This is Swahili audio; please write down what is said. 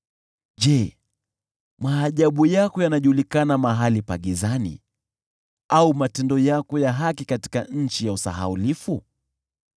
Je, maajabu yako hujulikana mahali pa giza, au matendo yako ya haki katika nchi ya usahaulifu?